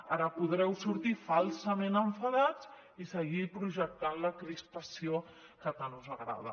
ara podreu sortir falsament enfadats i seguir projectant la crispació que tant us agrada